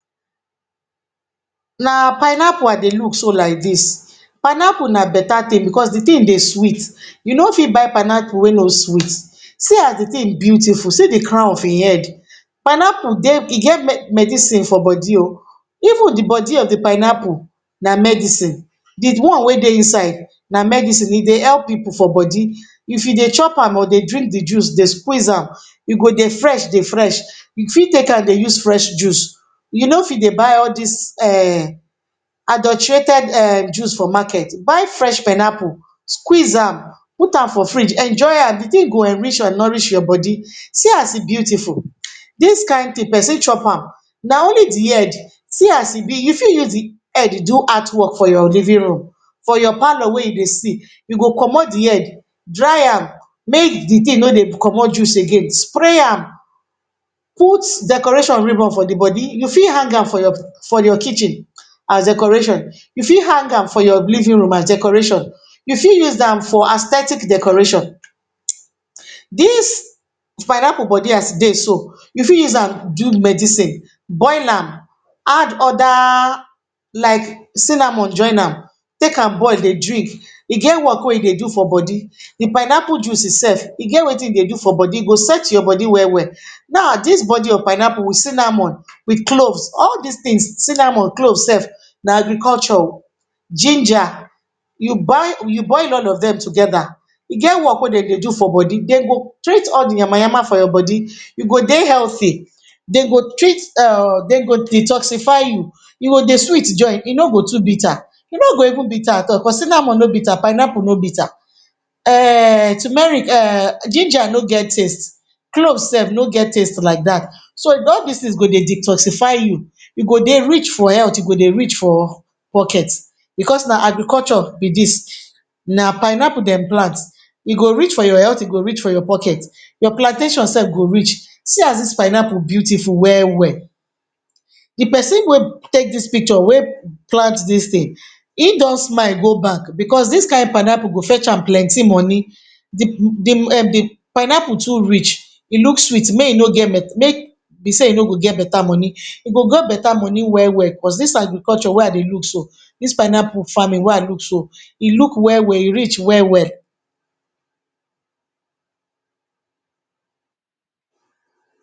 Na pineapple I dey look so like dis. Pineapple na beta tin becos di tin dey sweet. You no fit buy pineapple wey no sweet. See as di tin beautiful. See di crown of ein head. Pineapple dey e get medicine for bodi oh. Even di bodi of di pineapple na medicine. Di one wey dey inside na medicine. E dey help pipu for bodi. If you dey chop am or dey drink di juice, dey squeeze am, you go dey fresh dey fresh. You fit take an dey use fresh juice. You no fit dey buy all dis um adulterated um juice for market. Buy fresh pineapple, squeeze am, put am for fridge, enjoy an. Di tin go enrich an nourish your bodi. See as e beautiful. Dis kain tin, pesin chop am. Na only di head. See as e be. You fit use di head do artwork for your living room, for your parlour wey you dey sit. You go comot di head, dry am, make di tin no dey comot juice again. Spray am, put decoration ribbon for di bodi. You fit hang am for your for your kitchen as decoration. You fit hang am for your living room as decoration. You fit use am for aesthetic decoration. Dis pineapple bodi as e dey so, you fit use am do medicine. Boil am, add other like cinnamon join am. Take am boil dey drink. E get work wey e dey do for bodi. Di pineapple juice sef, e get wetin e dey do for bodi. E go set your bodi well-well. Nau, dis bodi of pineapple with cinnamon, with cloves—all dis tins cinnamon, cloves sef na agriculture oh—ginger, you boil you boil all of dem together, e get work wey de dey do for bodi. De go treat all di yamayama for your bodi, you go dey healthy. De go treat um de go detoxify you. You go dey sweet join, e no go too bitter. E no go even bitter at all cos cinnamon no bitter, pineapple no bitter. um turmeric um ginger no get taste. Cloves sef no get taste like dat. So, all dis tins go dey detoxify you, you go dey rich for health, you go dey rich for pocket becos na agriculture be dis. Na pineapple dem plant, e go rich for your health, e go rich for your pocket. Your plantation sef go rich. See as dis pineapple beautiful well-well. Di pesin wey take dis picture wey plant dis tin, ein don smile go bank becos dis kain pineapple go fetch am plenti money. Di di um di pineapple too rich, e look sweet make e no get make be sey e no go get beta money. E go get beta money well-well cos dis agriculture wey I dey look so, dis pineapple farming wey I look so, e look well-well, e rich well-well.